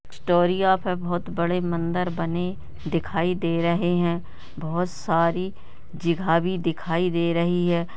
Story यहा पे बहुत बड़े मंदिर बने दिखायी दे रहे है बहुत सारी जगह भी दिखायी दे रही है।